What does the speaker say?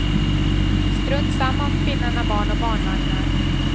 Strunt samma om kvinnan har barn och barnvagnar.